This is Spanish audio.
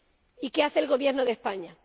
Y ¿qué hace el Gobierno de España?